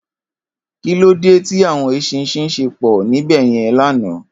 Kilódé ti áwòn éṣìnṣìn ṣé pò níbèyèn làná?